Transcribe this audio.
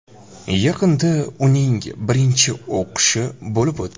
Yaqinda uning birinchi o‘qishi bo‘lib o‘tdi.